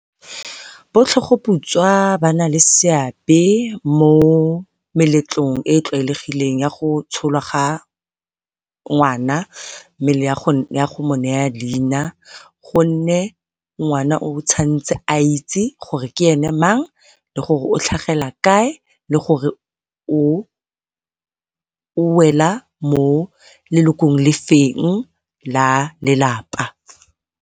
Bo tlhogoputswa ba na le seabe mo meletlong e e tlwaelegileng ya go tsholwa ga ngwana mme le ya go mo nea leina, gonne ngwana o tshwantse a itse gore ke ene mang, le gore o tlhagela kae, le gore o wela mo lelokong le feng la lelapa.